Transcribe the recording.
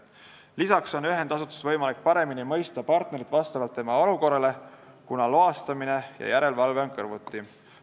Lisaks on ühendasutuses võimalik partneri olukorda paremini mõista, kuna loastamine ja järelevalve on kõrvuti.